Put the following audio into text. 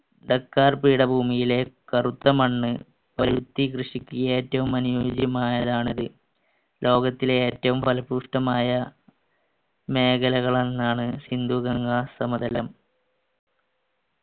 Dakar പീഠഭൂമിയിലെ കറുത്ത മണ്ണ് പരുത്തി കൃഷിക്ക് ഏറ്റവും അനുയോജ്യമായതാണത് ലോകത്തിലെ ഏറ്റവും ഫലപുഷ്പമായ മേഖലകൾ എന്നാണ് സിന്ധു ഗംഗ സമതലം